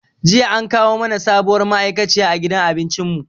Jiya an kawo mana sabuwar ma'aikaciya a gidan abincin mu.